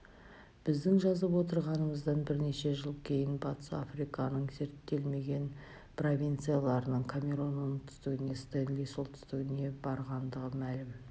біздің жазып отырғанымыздан бірнеше жыл кейін батыс африканың зерттелмеген провинцияларының камерон оңтүстігіне стенли солтүстігіне барғандығы мәлім